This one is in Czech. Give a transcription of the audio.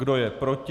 Kdo je proti?